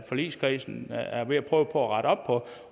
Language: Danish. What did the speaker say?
forligskredsen er ved at prøve at rette op på